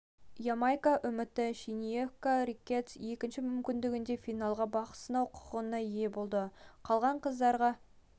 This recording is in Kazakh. ямайка үміті шениека риккетс те екінші мүмкіндіктерінде финалда бақ сынау құқығына ие болды қалған қыздарға